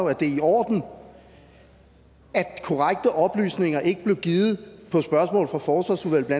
at det er i orden at korrekte oplysninger ikke blev givet på spørgsmål fra forsvarsudvalget